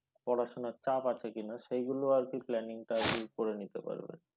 পড়াশোনার চাপ আছে কিনা সেগুলো আর কি planning টা আগে করে নিতে পারবে।